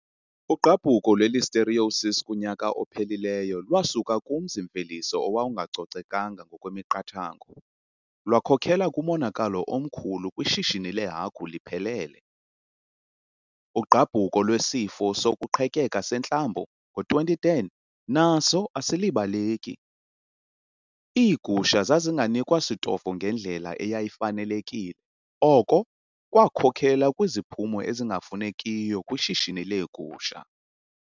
Ugqabhuko lwe-listerioses kunyaka ophelileyo lwasuka kumzi-mveliso owawungacocekanga ngokwemiqathango lwakhokela kumonakalo omkhulu kwishishini leehagu liphelele. Ugqabhuko lwesifo sokuqhekeka-sentlambo ngo-2010 naso asilibaleki. Iigusha zazinganikwa sitofo ngendlela eyayifanelekile, oko kwakhokelela kwiziphumo ezingafunekiyo kwishishini leegusha.